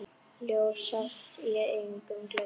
Ljós sást í einum glugga.